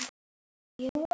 Elska þig, amma.